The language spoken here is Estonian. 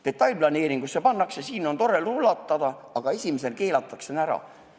Detailplaneeringusse pannakse kirja, et seal on tore rulatada, aga esimese asjana keelatakse see ära.